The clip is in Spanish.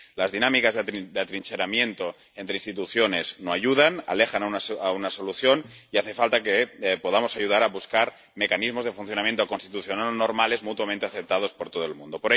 Las dinámicas de atrincheramiento entre instituciones no ayudan —alejan una solución— y hace falta que podamos ayudar a buscar mecanismos de funcionamiento constitucional normales mutuamente aceptados por todo el mundo.